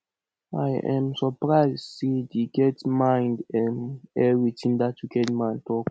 i um surprise say dey get mind um air wetin dat wicked man talk